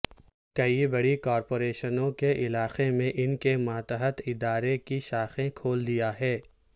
کئی بڑی کارپوریشنوں کے علاقے میں ان کے ماتحت ادارے کی شاخیں کھول دیا ہے